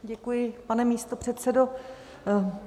Děkuji, pane místopředsedo.